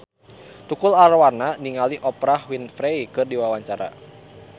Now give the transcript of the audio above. Tukul Arwana olohok ningali Oprah Winfrey keur diwawancara